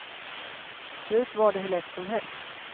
Förut var det hur lätt som helst.